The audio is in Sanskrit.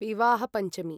विवाह पञ्चमी